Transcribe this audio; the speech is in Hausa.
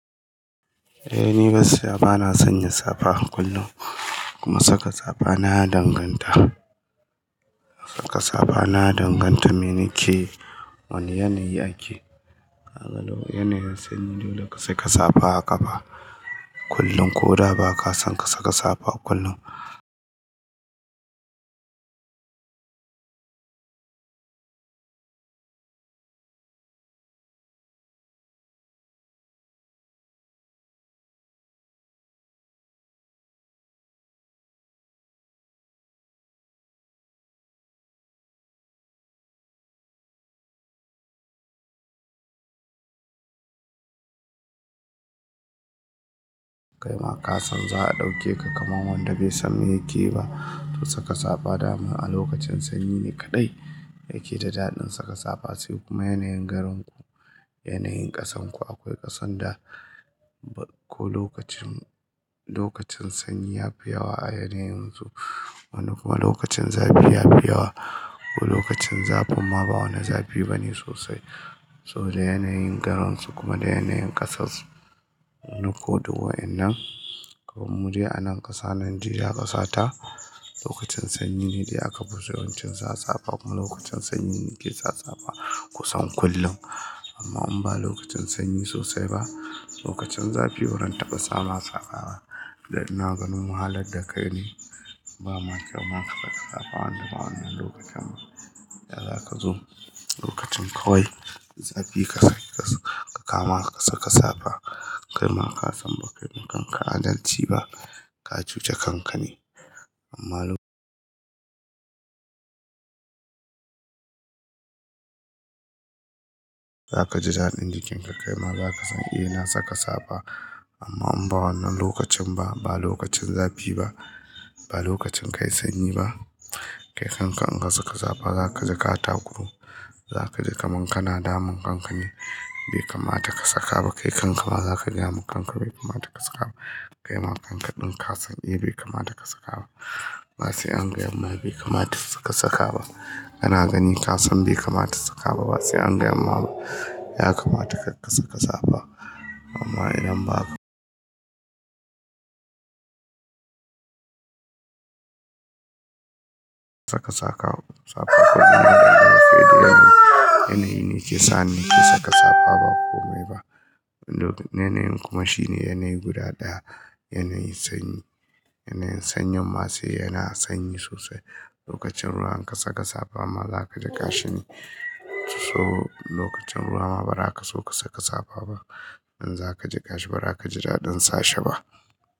Eh ni gaskiya, bana sanya safa a kullum. Kuma saka safa na ya danganta, saka safa na ya danganta me nakeyi, wane yanayi ake. A yanayin sanyi dole ka saka safa a ƙafa, kullum ko da ba ka son ka saka safa kullum. Kai ma ka san za'a ɗauke ka kamar wanda bai san me yake yi ba. To saka safa daman a lokacin sanyi ne kaɗai yake da daɗin saka safa. Sai kuma yanayin garinku, yanayin ƙasarku. Akwai ƙasan da ko lokacin, lokacin sanyi ya fi yawa a yanayin su. Wani kuma lokacin zafi ya fi yawa. Ko lokacin zafin ma ba wani zafi bane sosai. Saboda yanayin garin su kuma da yanayin ƙasar su. Wani ko du wa'innan. Kaman mudai anan ƙasa, Nijeriya ƙasa ta, lokacin sanyi ne dai a kafiso, yawancin safa, kuma lokacin sanyi nike sa safa kusan kullum. Amma in ba lokacin sanyi sosai ba, lokacin zafi baran taɓa sa ma safa ba. Dan ina ganin wahalar da kai ne. Ba ma kai ma ka saka safa wanda ba wannan lokacin ba. Da za kazo lokacin kawai zafi ka kama ka saka safa. Kai ma ka san ba kai ma kanka adalci ba. Ka cuce kanka ne. Amma lokacin za ka ji daɗin jikin ka. Kai ma za ka san eh na saka safa. Amma in ba wannan lokacin ba, ba lokacin zafi ba, ba lokacin kai sanyi ba, kai kanka in ka saka safa za ka ji ka takuru. Za ka ji kaman kana damun kanka ne. Bai kamata ka saka ba. Kai kanka ma za ka gaya ma kanka bai kamata ka saka ba. Kai ma kanka ɗin ka san eh bai kamata ka saka ba. Ba sai an gayan ma bai kamata ka saka ba. Kana gani ka san bai kamata ka saka ba. Ba sai an gayan ma ba, ya kamata ka saka safa. Amma idan ba ka saka safa kullum. Yanayi ne ke sa ni nake saka safa ba komai ba. Wanda duk yanayin kuma shine yanayi guda ɗaya. Yanayi sanyi. Yanayin sanyin ma sai yana sanyi sosai. Lokacin ruwa in ka saka safa ma za ka jiƙashi ne. To lokacin ruwa ba ra ka so ka saka safa ba. In za ka jiƙashi ba za ka ji daɗin sa shi ba.